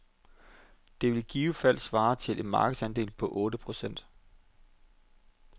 Det ville i givet fald svare til en markedsandel på otte procent.